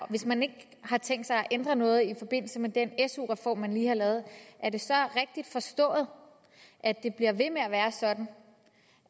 hvis man ikke har tænkt sig at ændre noget i forbindelse med den su reform man lige har lavet er det så rigtigt forstået at det bliver ved med at være sådan